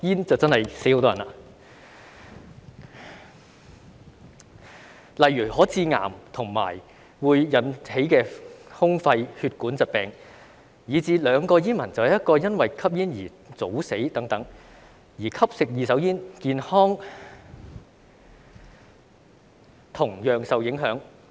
舉例來說，吸煙可以致癌，引起胸肺或血管疾病，以至每兩名煙民便有一人因吸煙而早死等，而吸食二手煙亦同樣影響健康。